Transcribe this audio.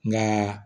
Nka